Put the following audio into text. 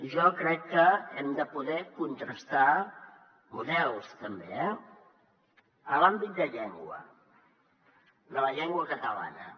jo crec que hem de poder contrastar models també eh en l’àmbit de llengua de la llengua catalana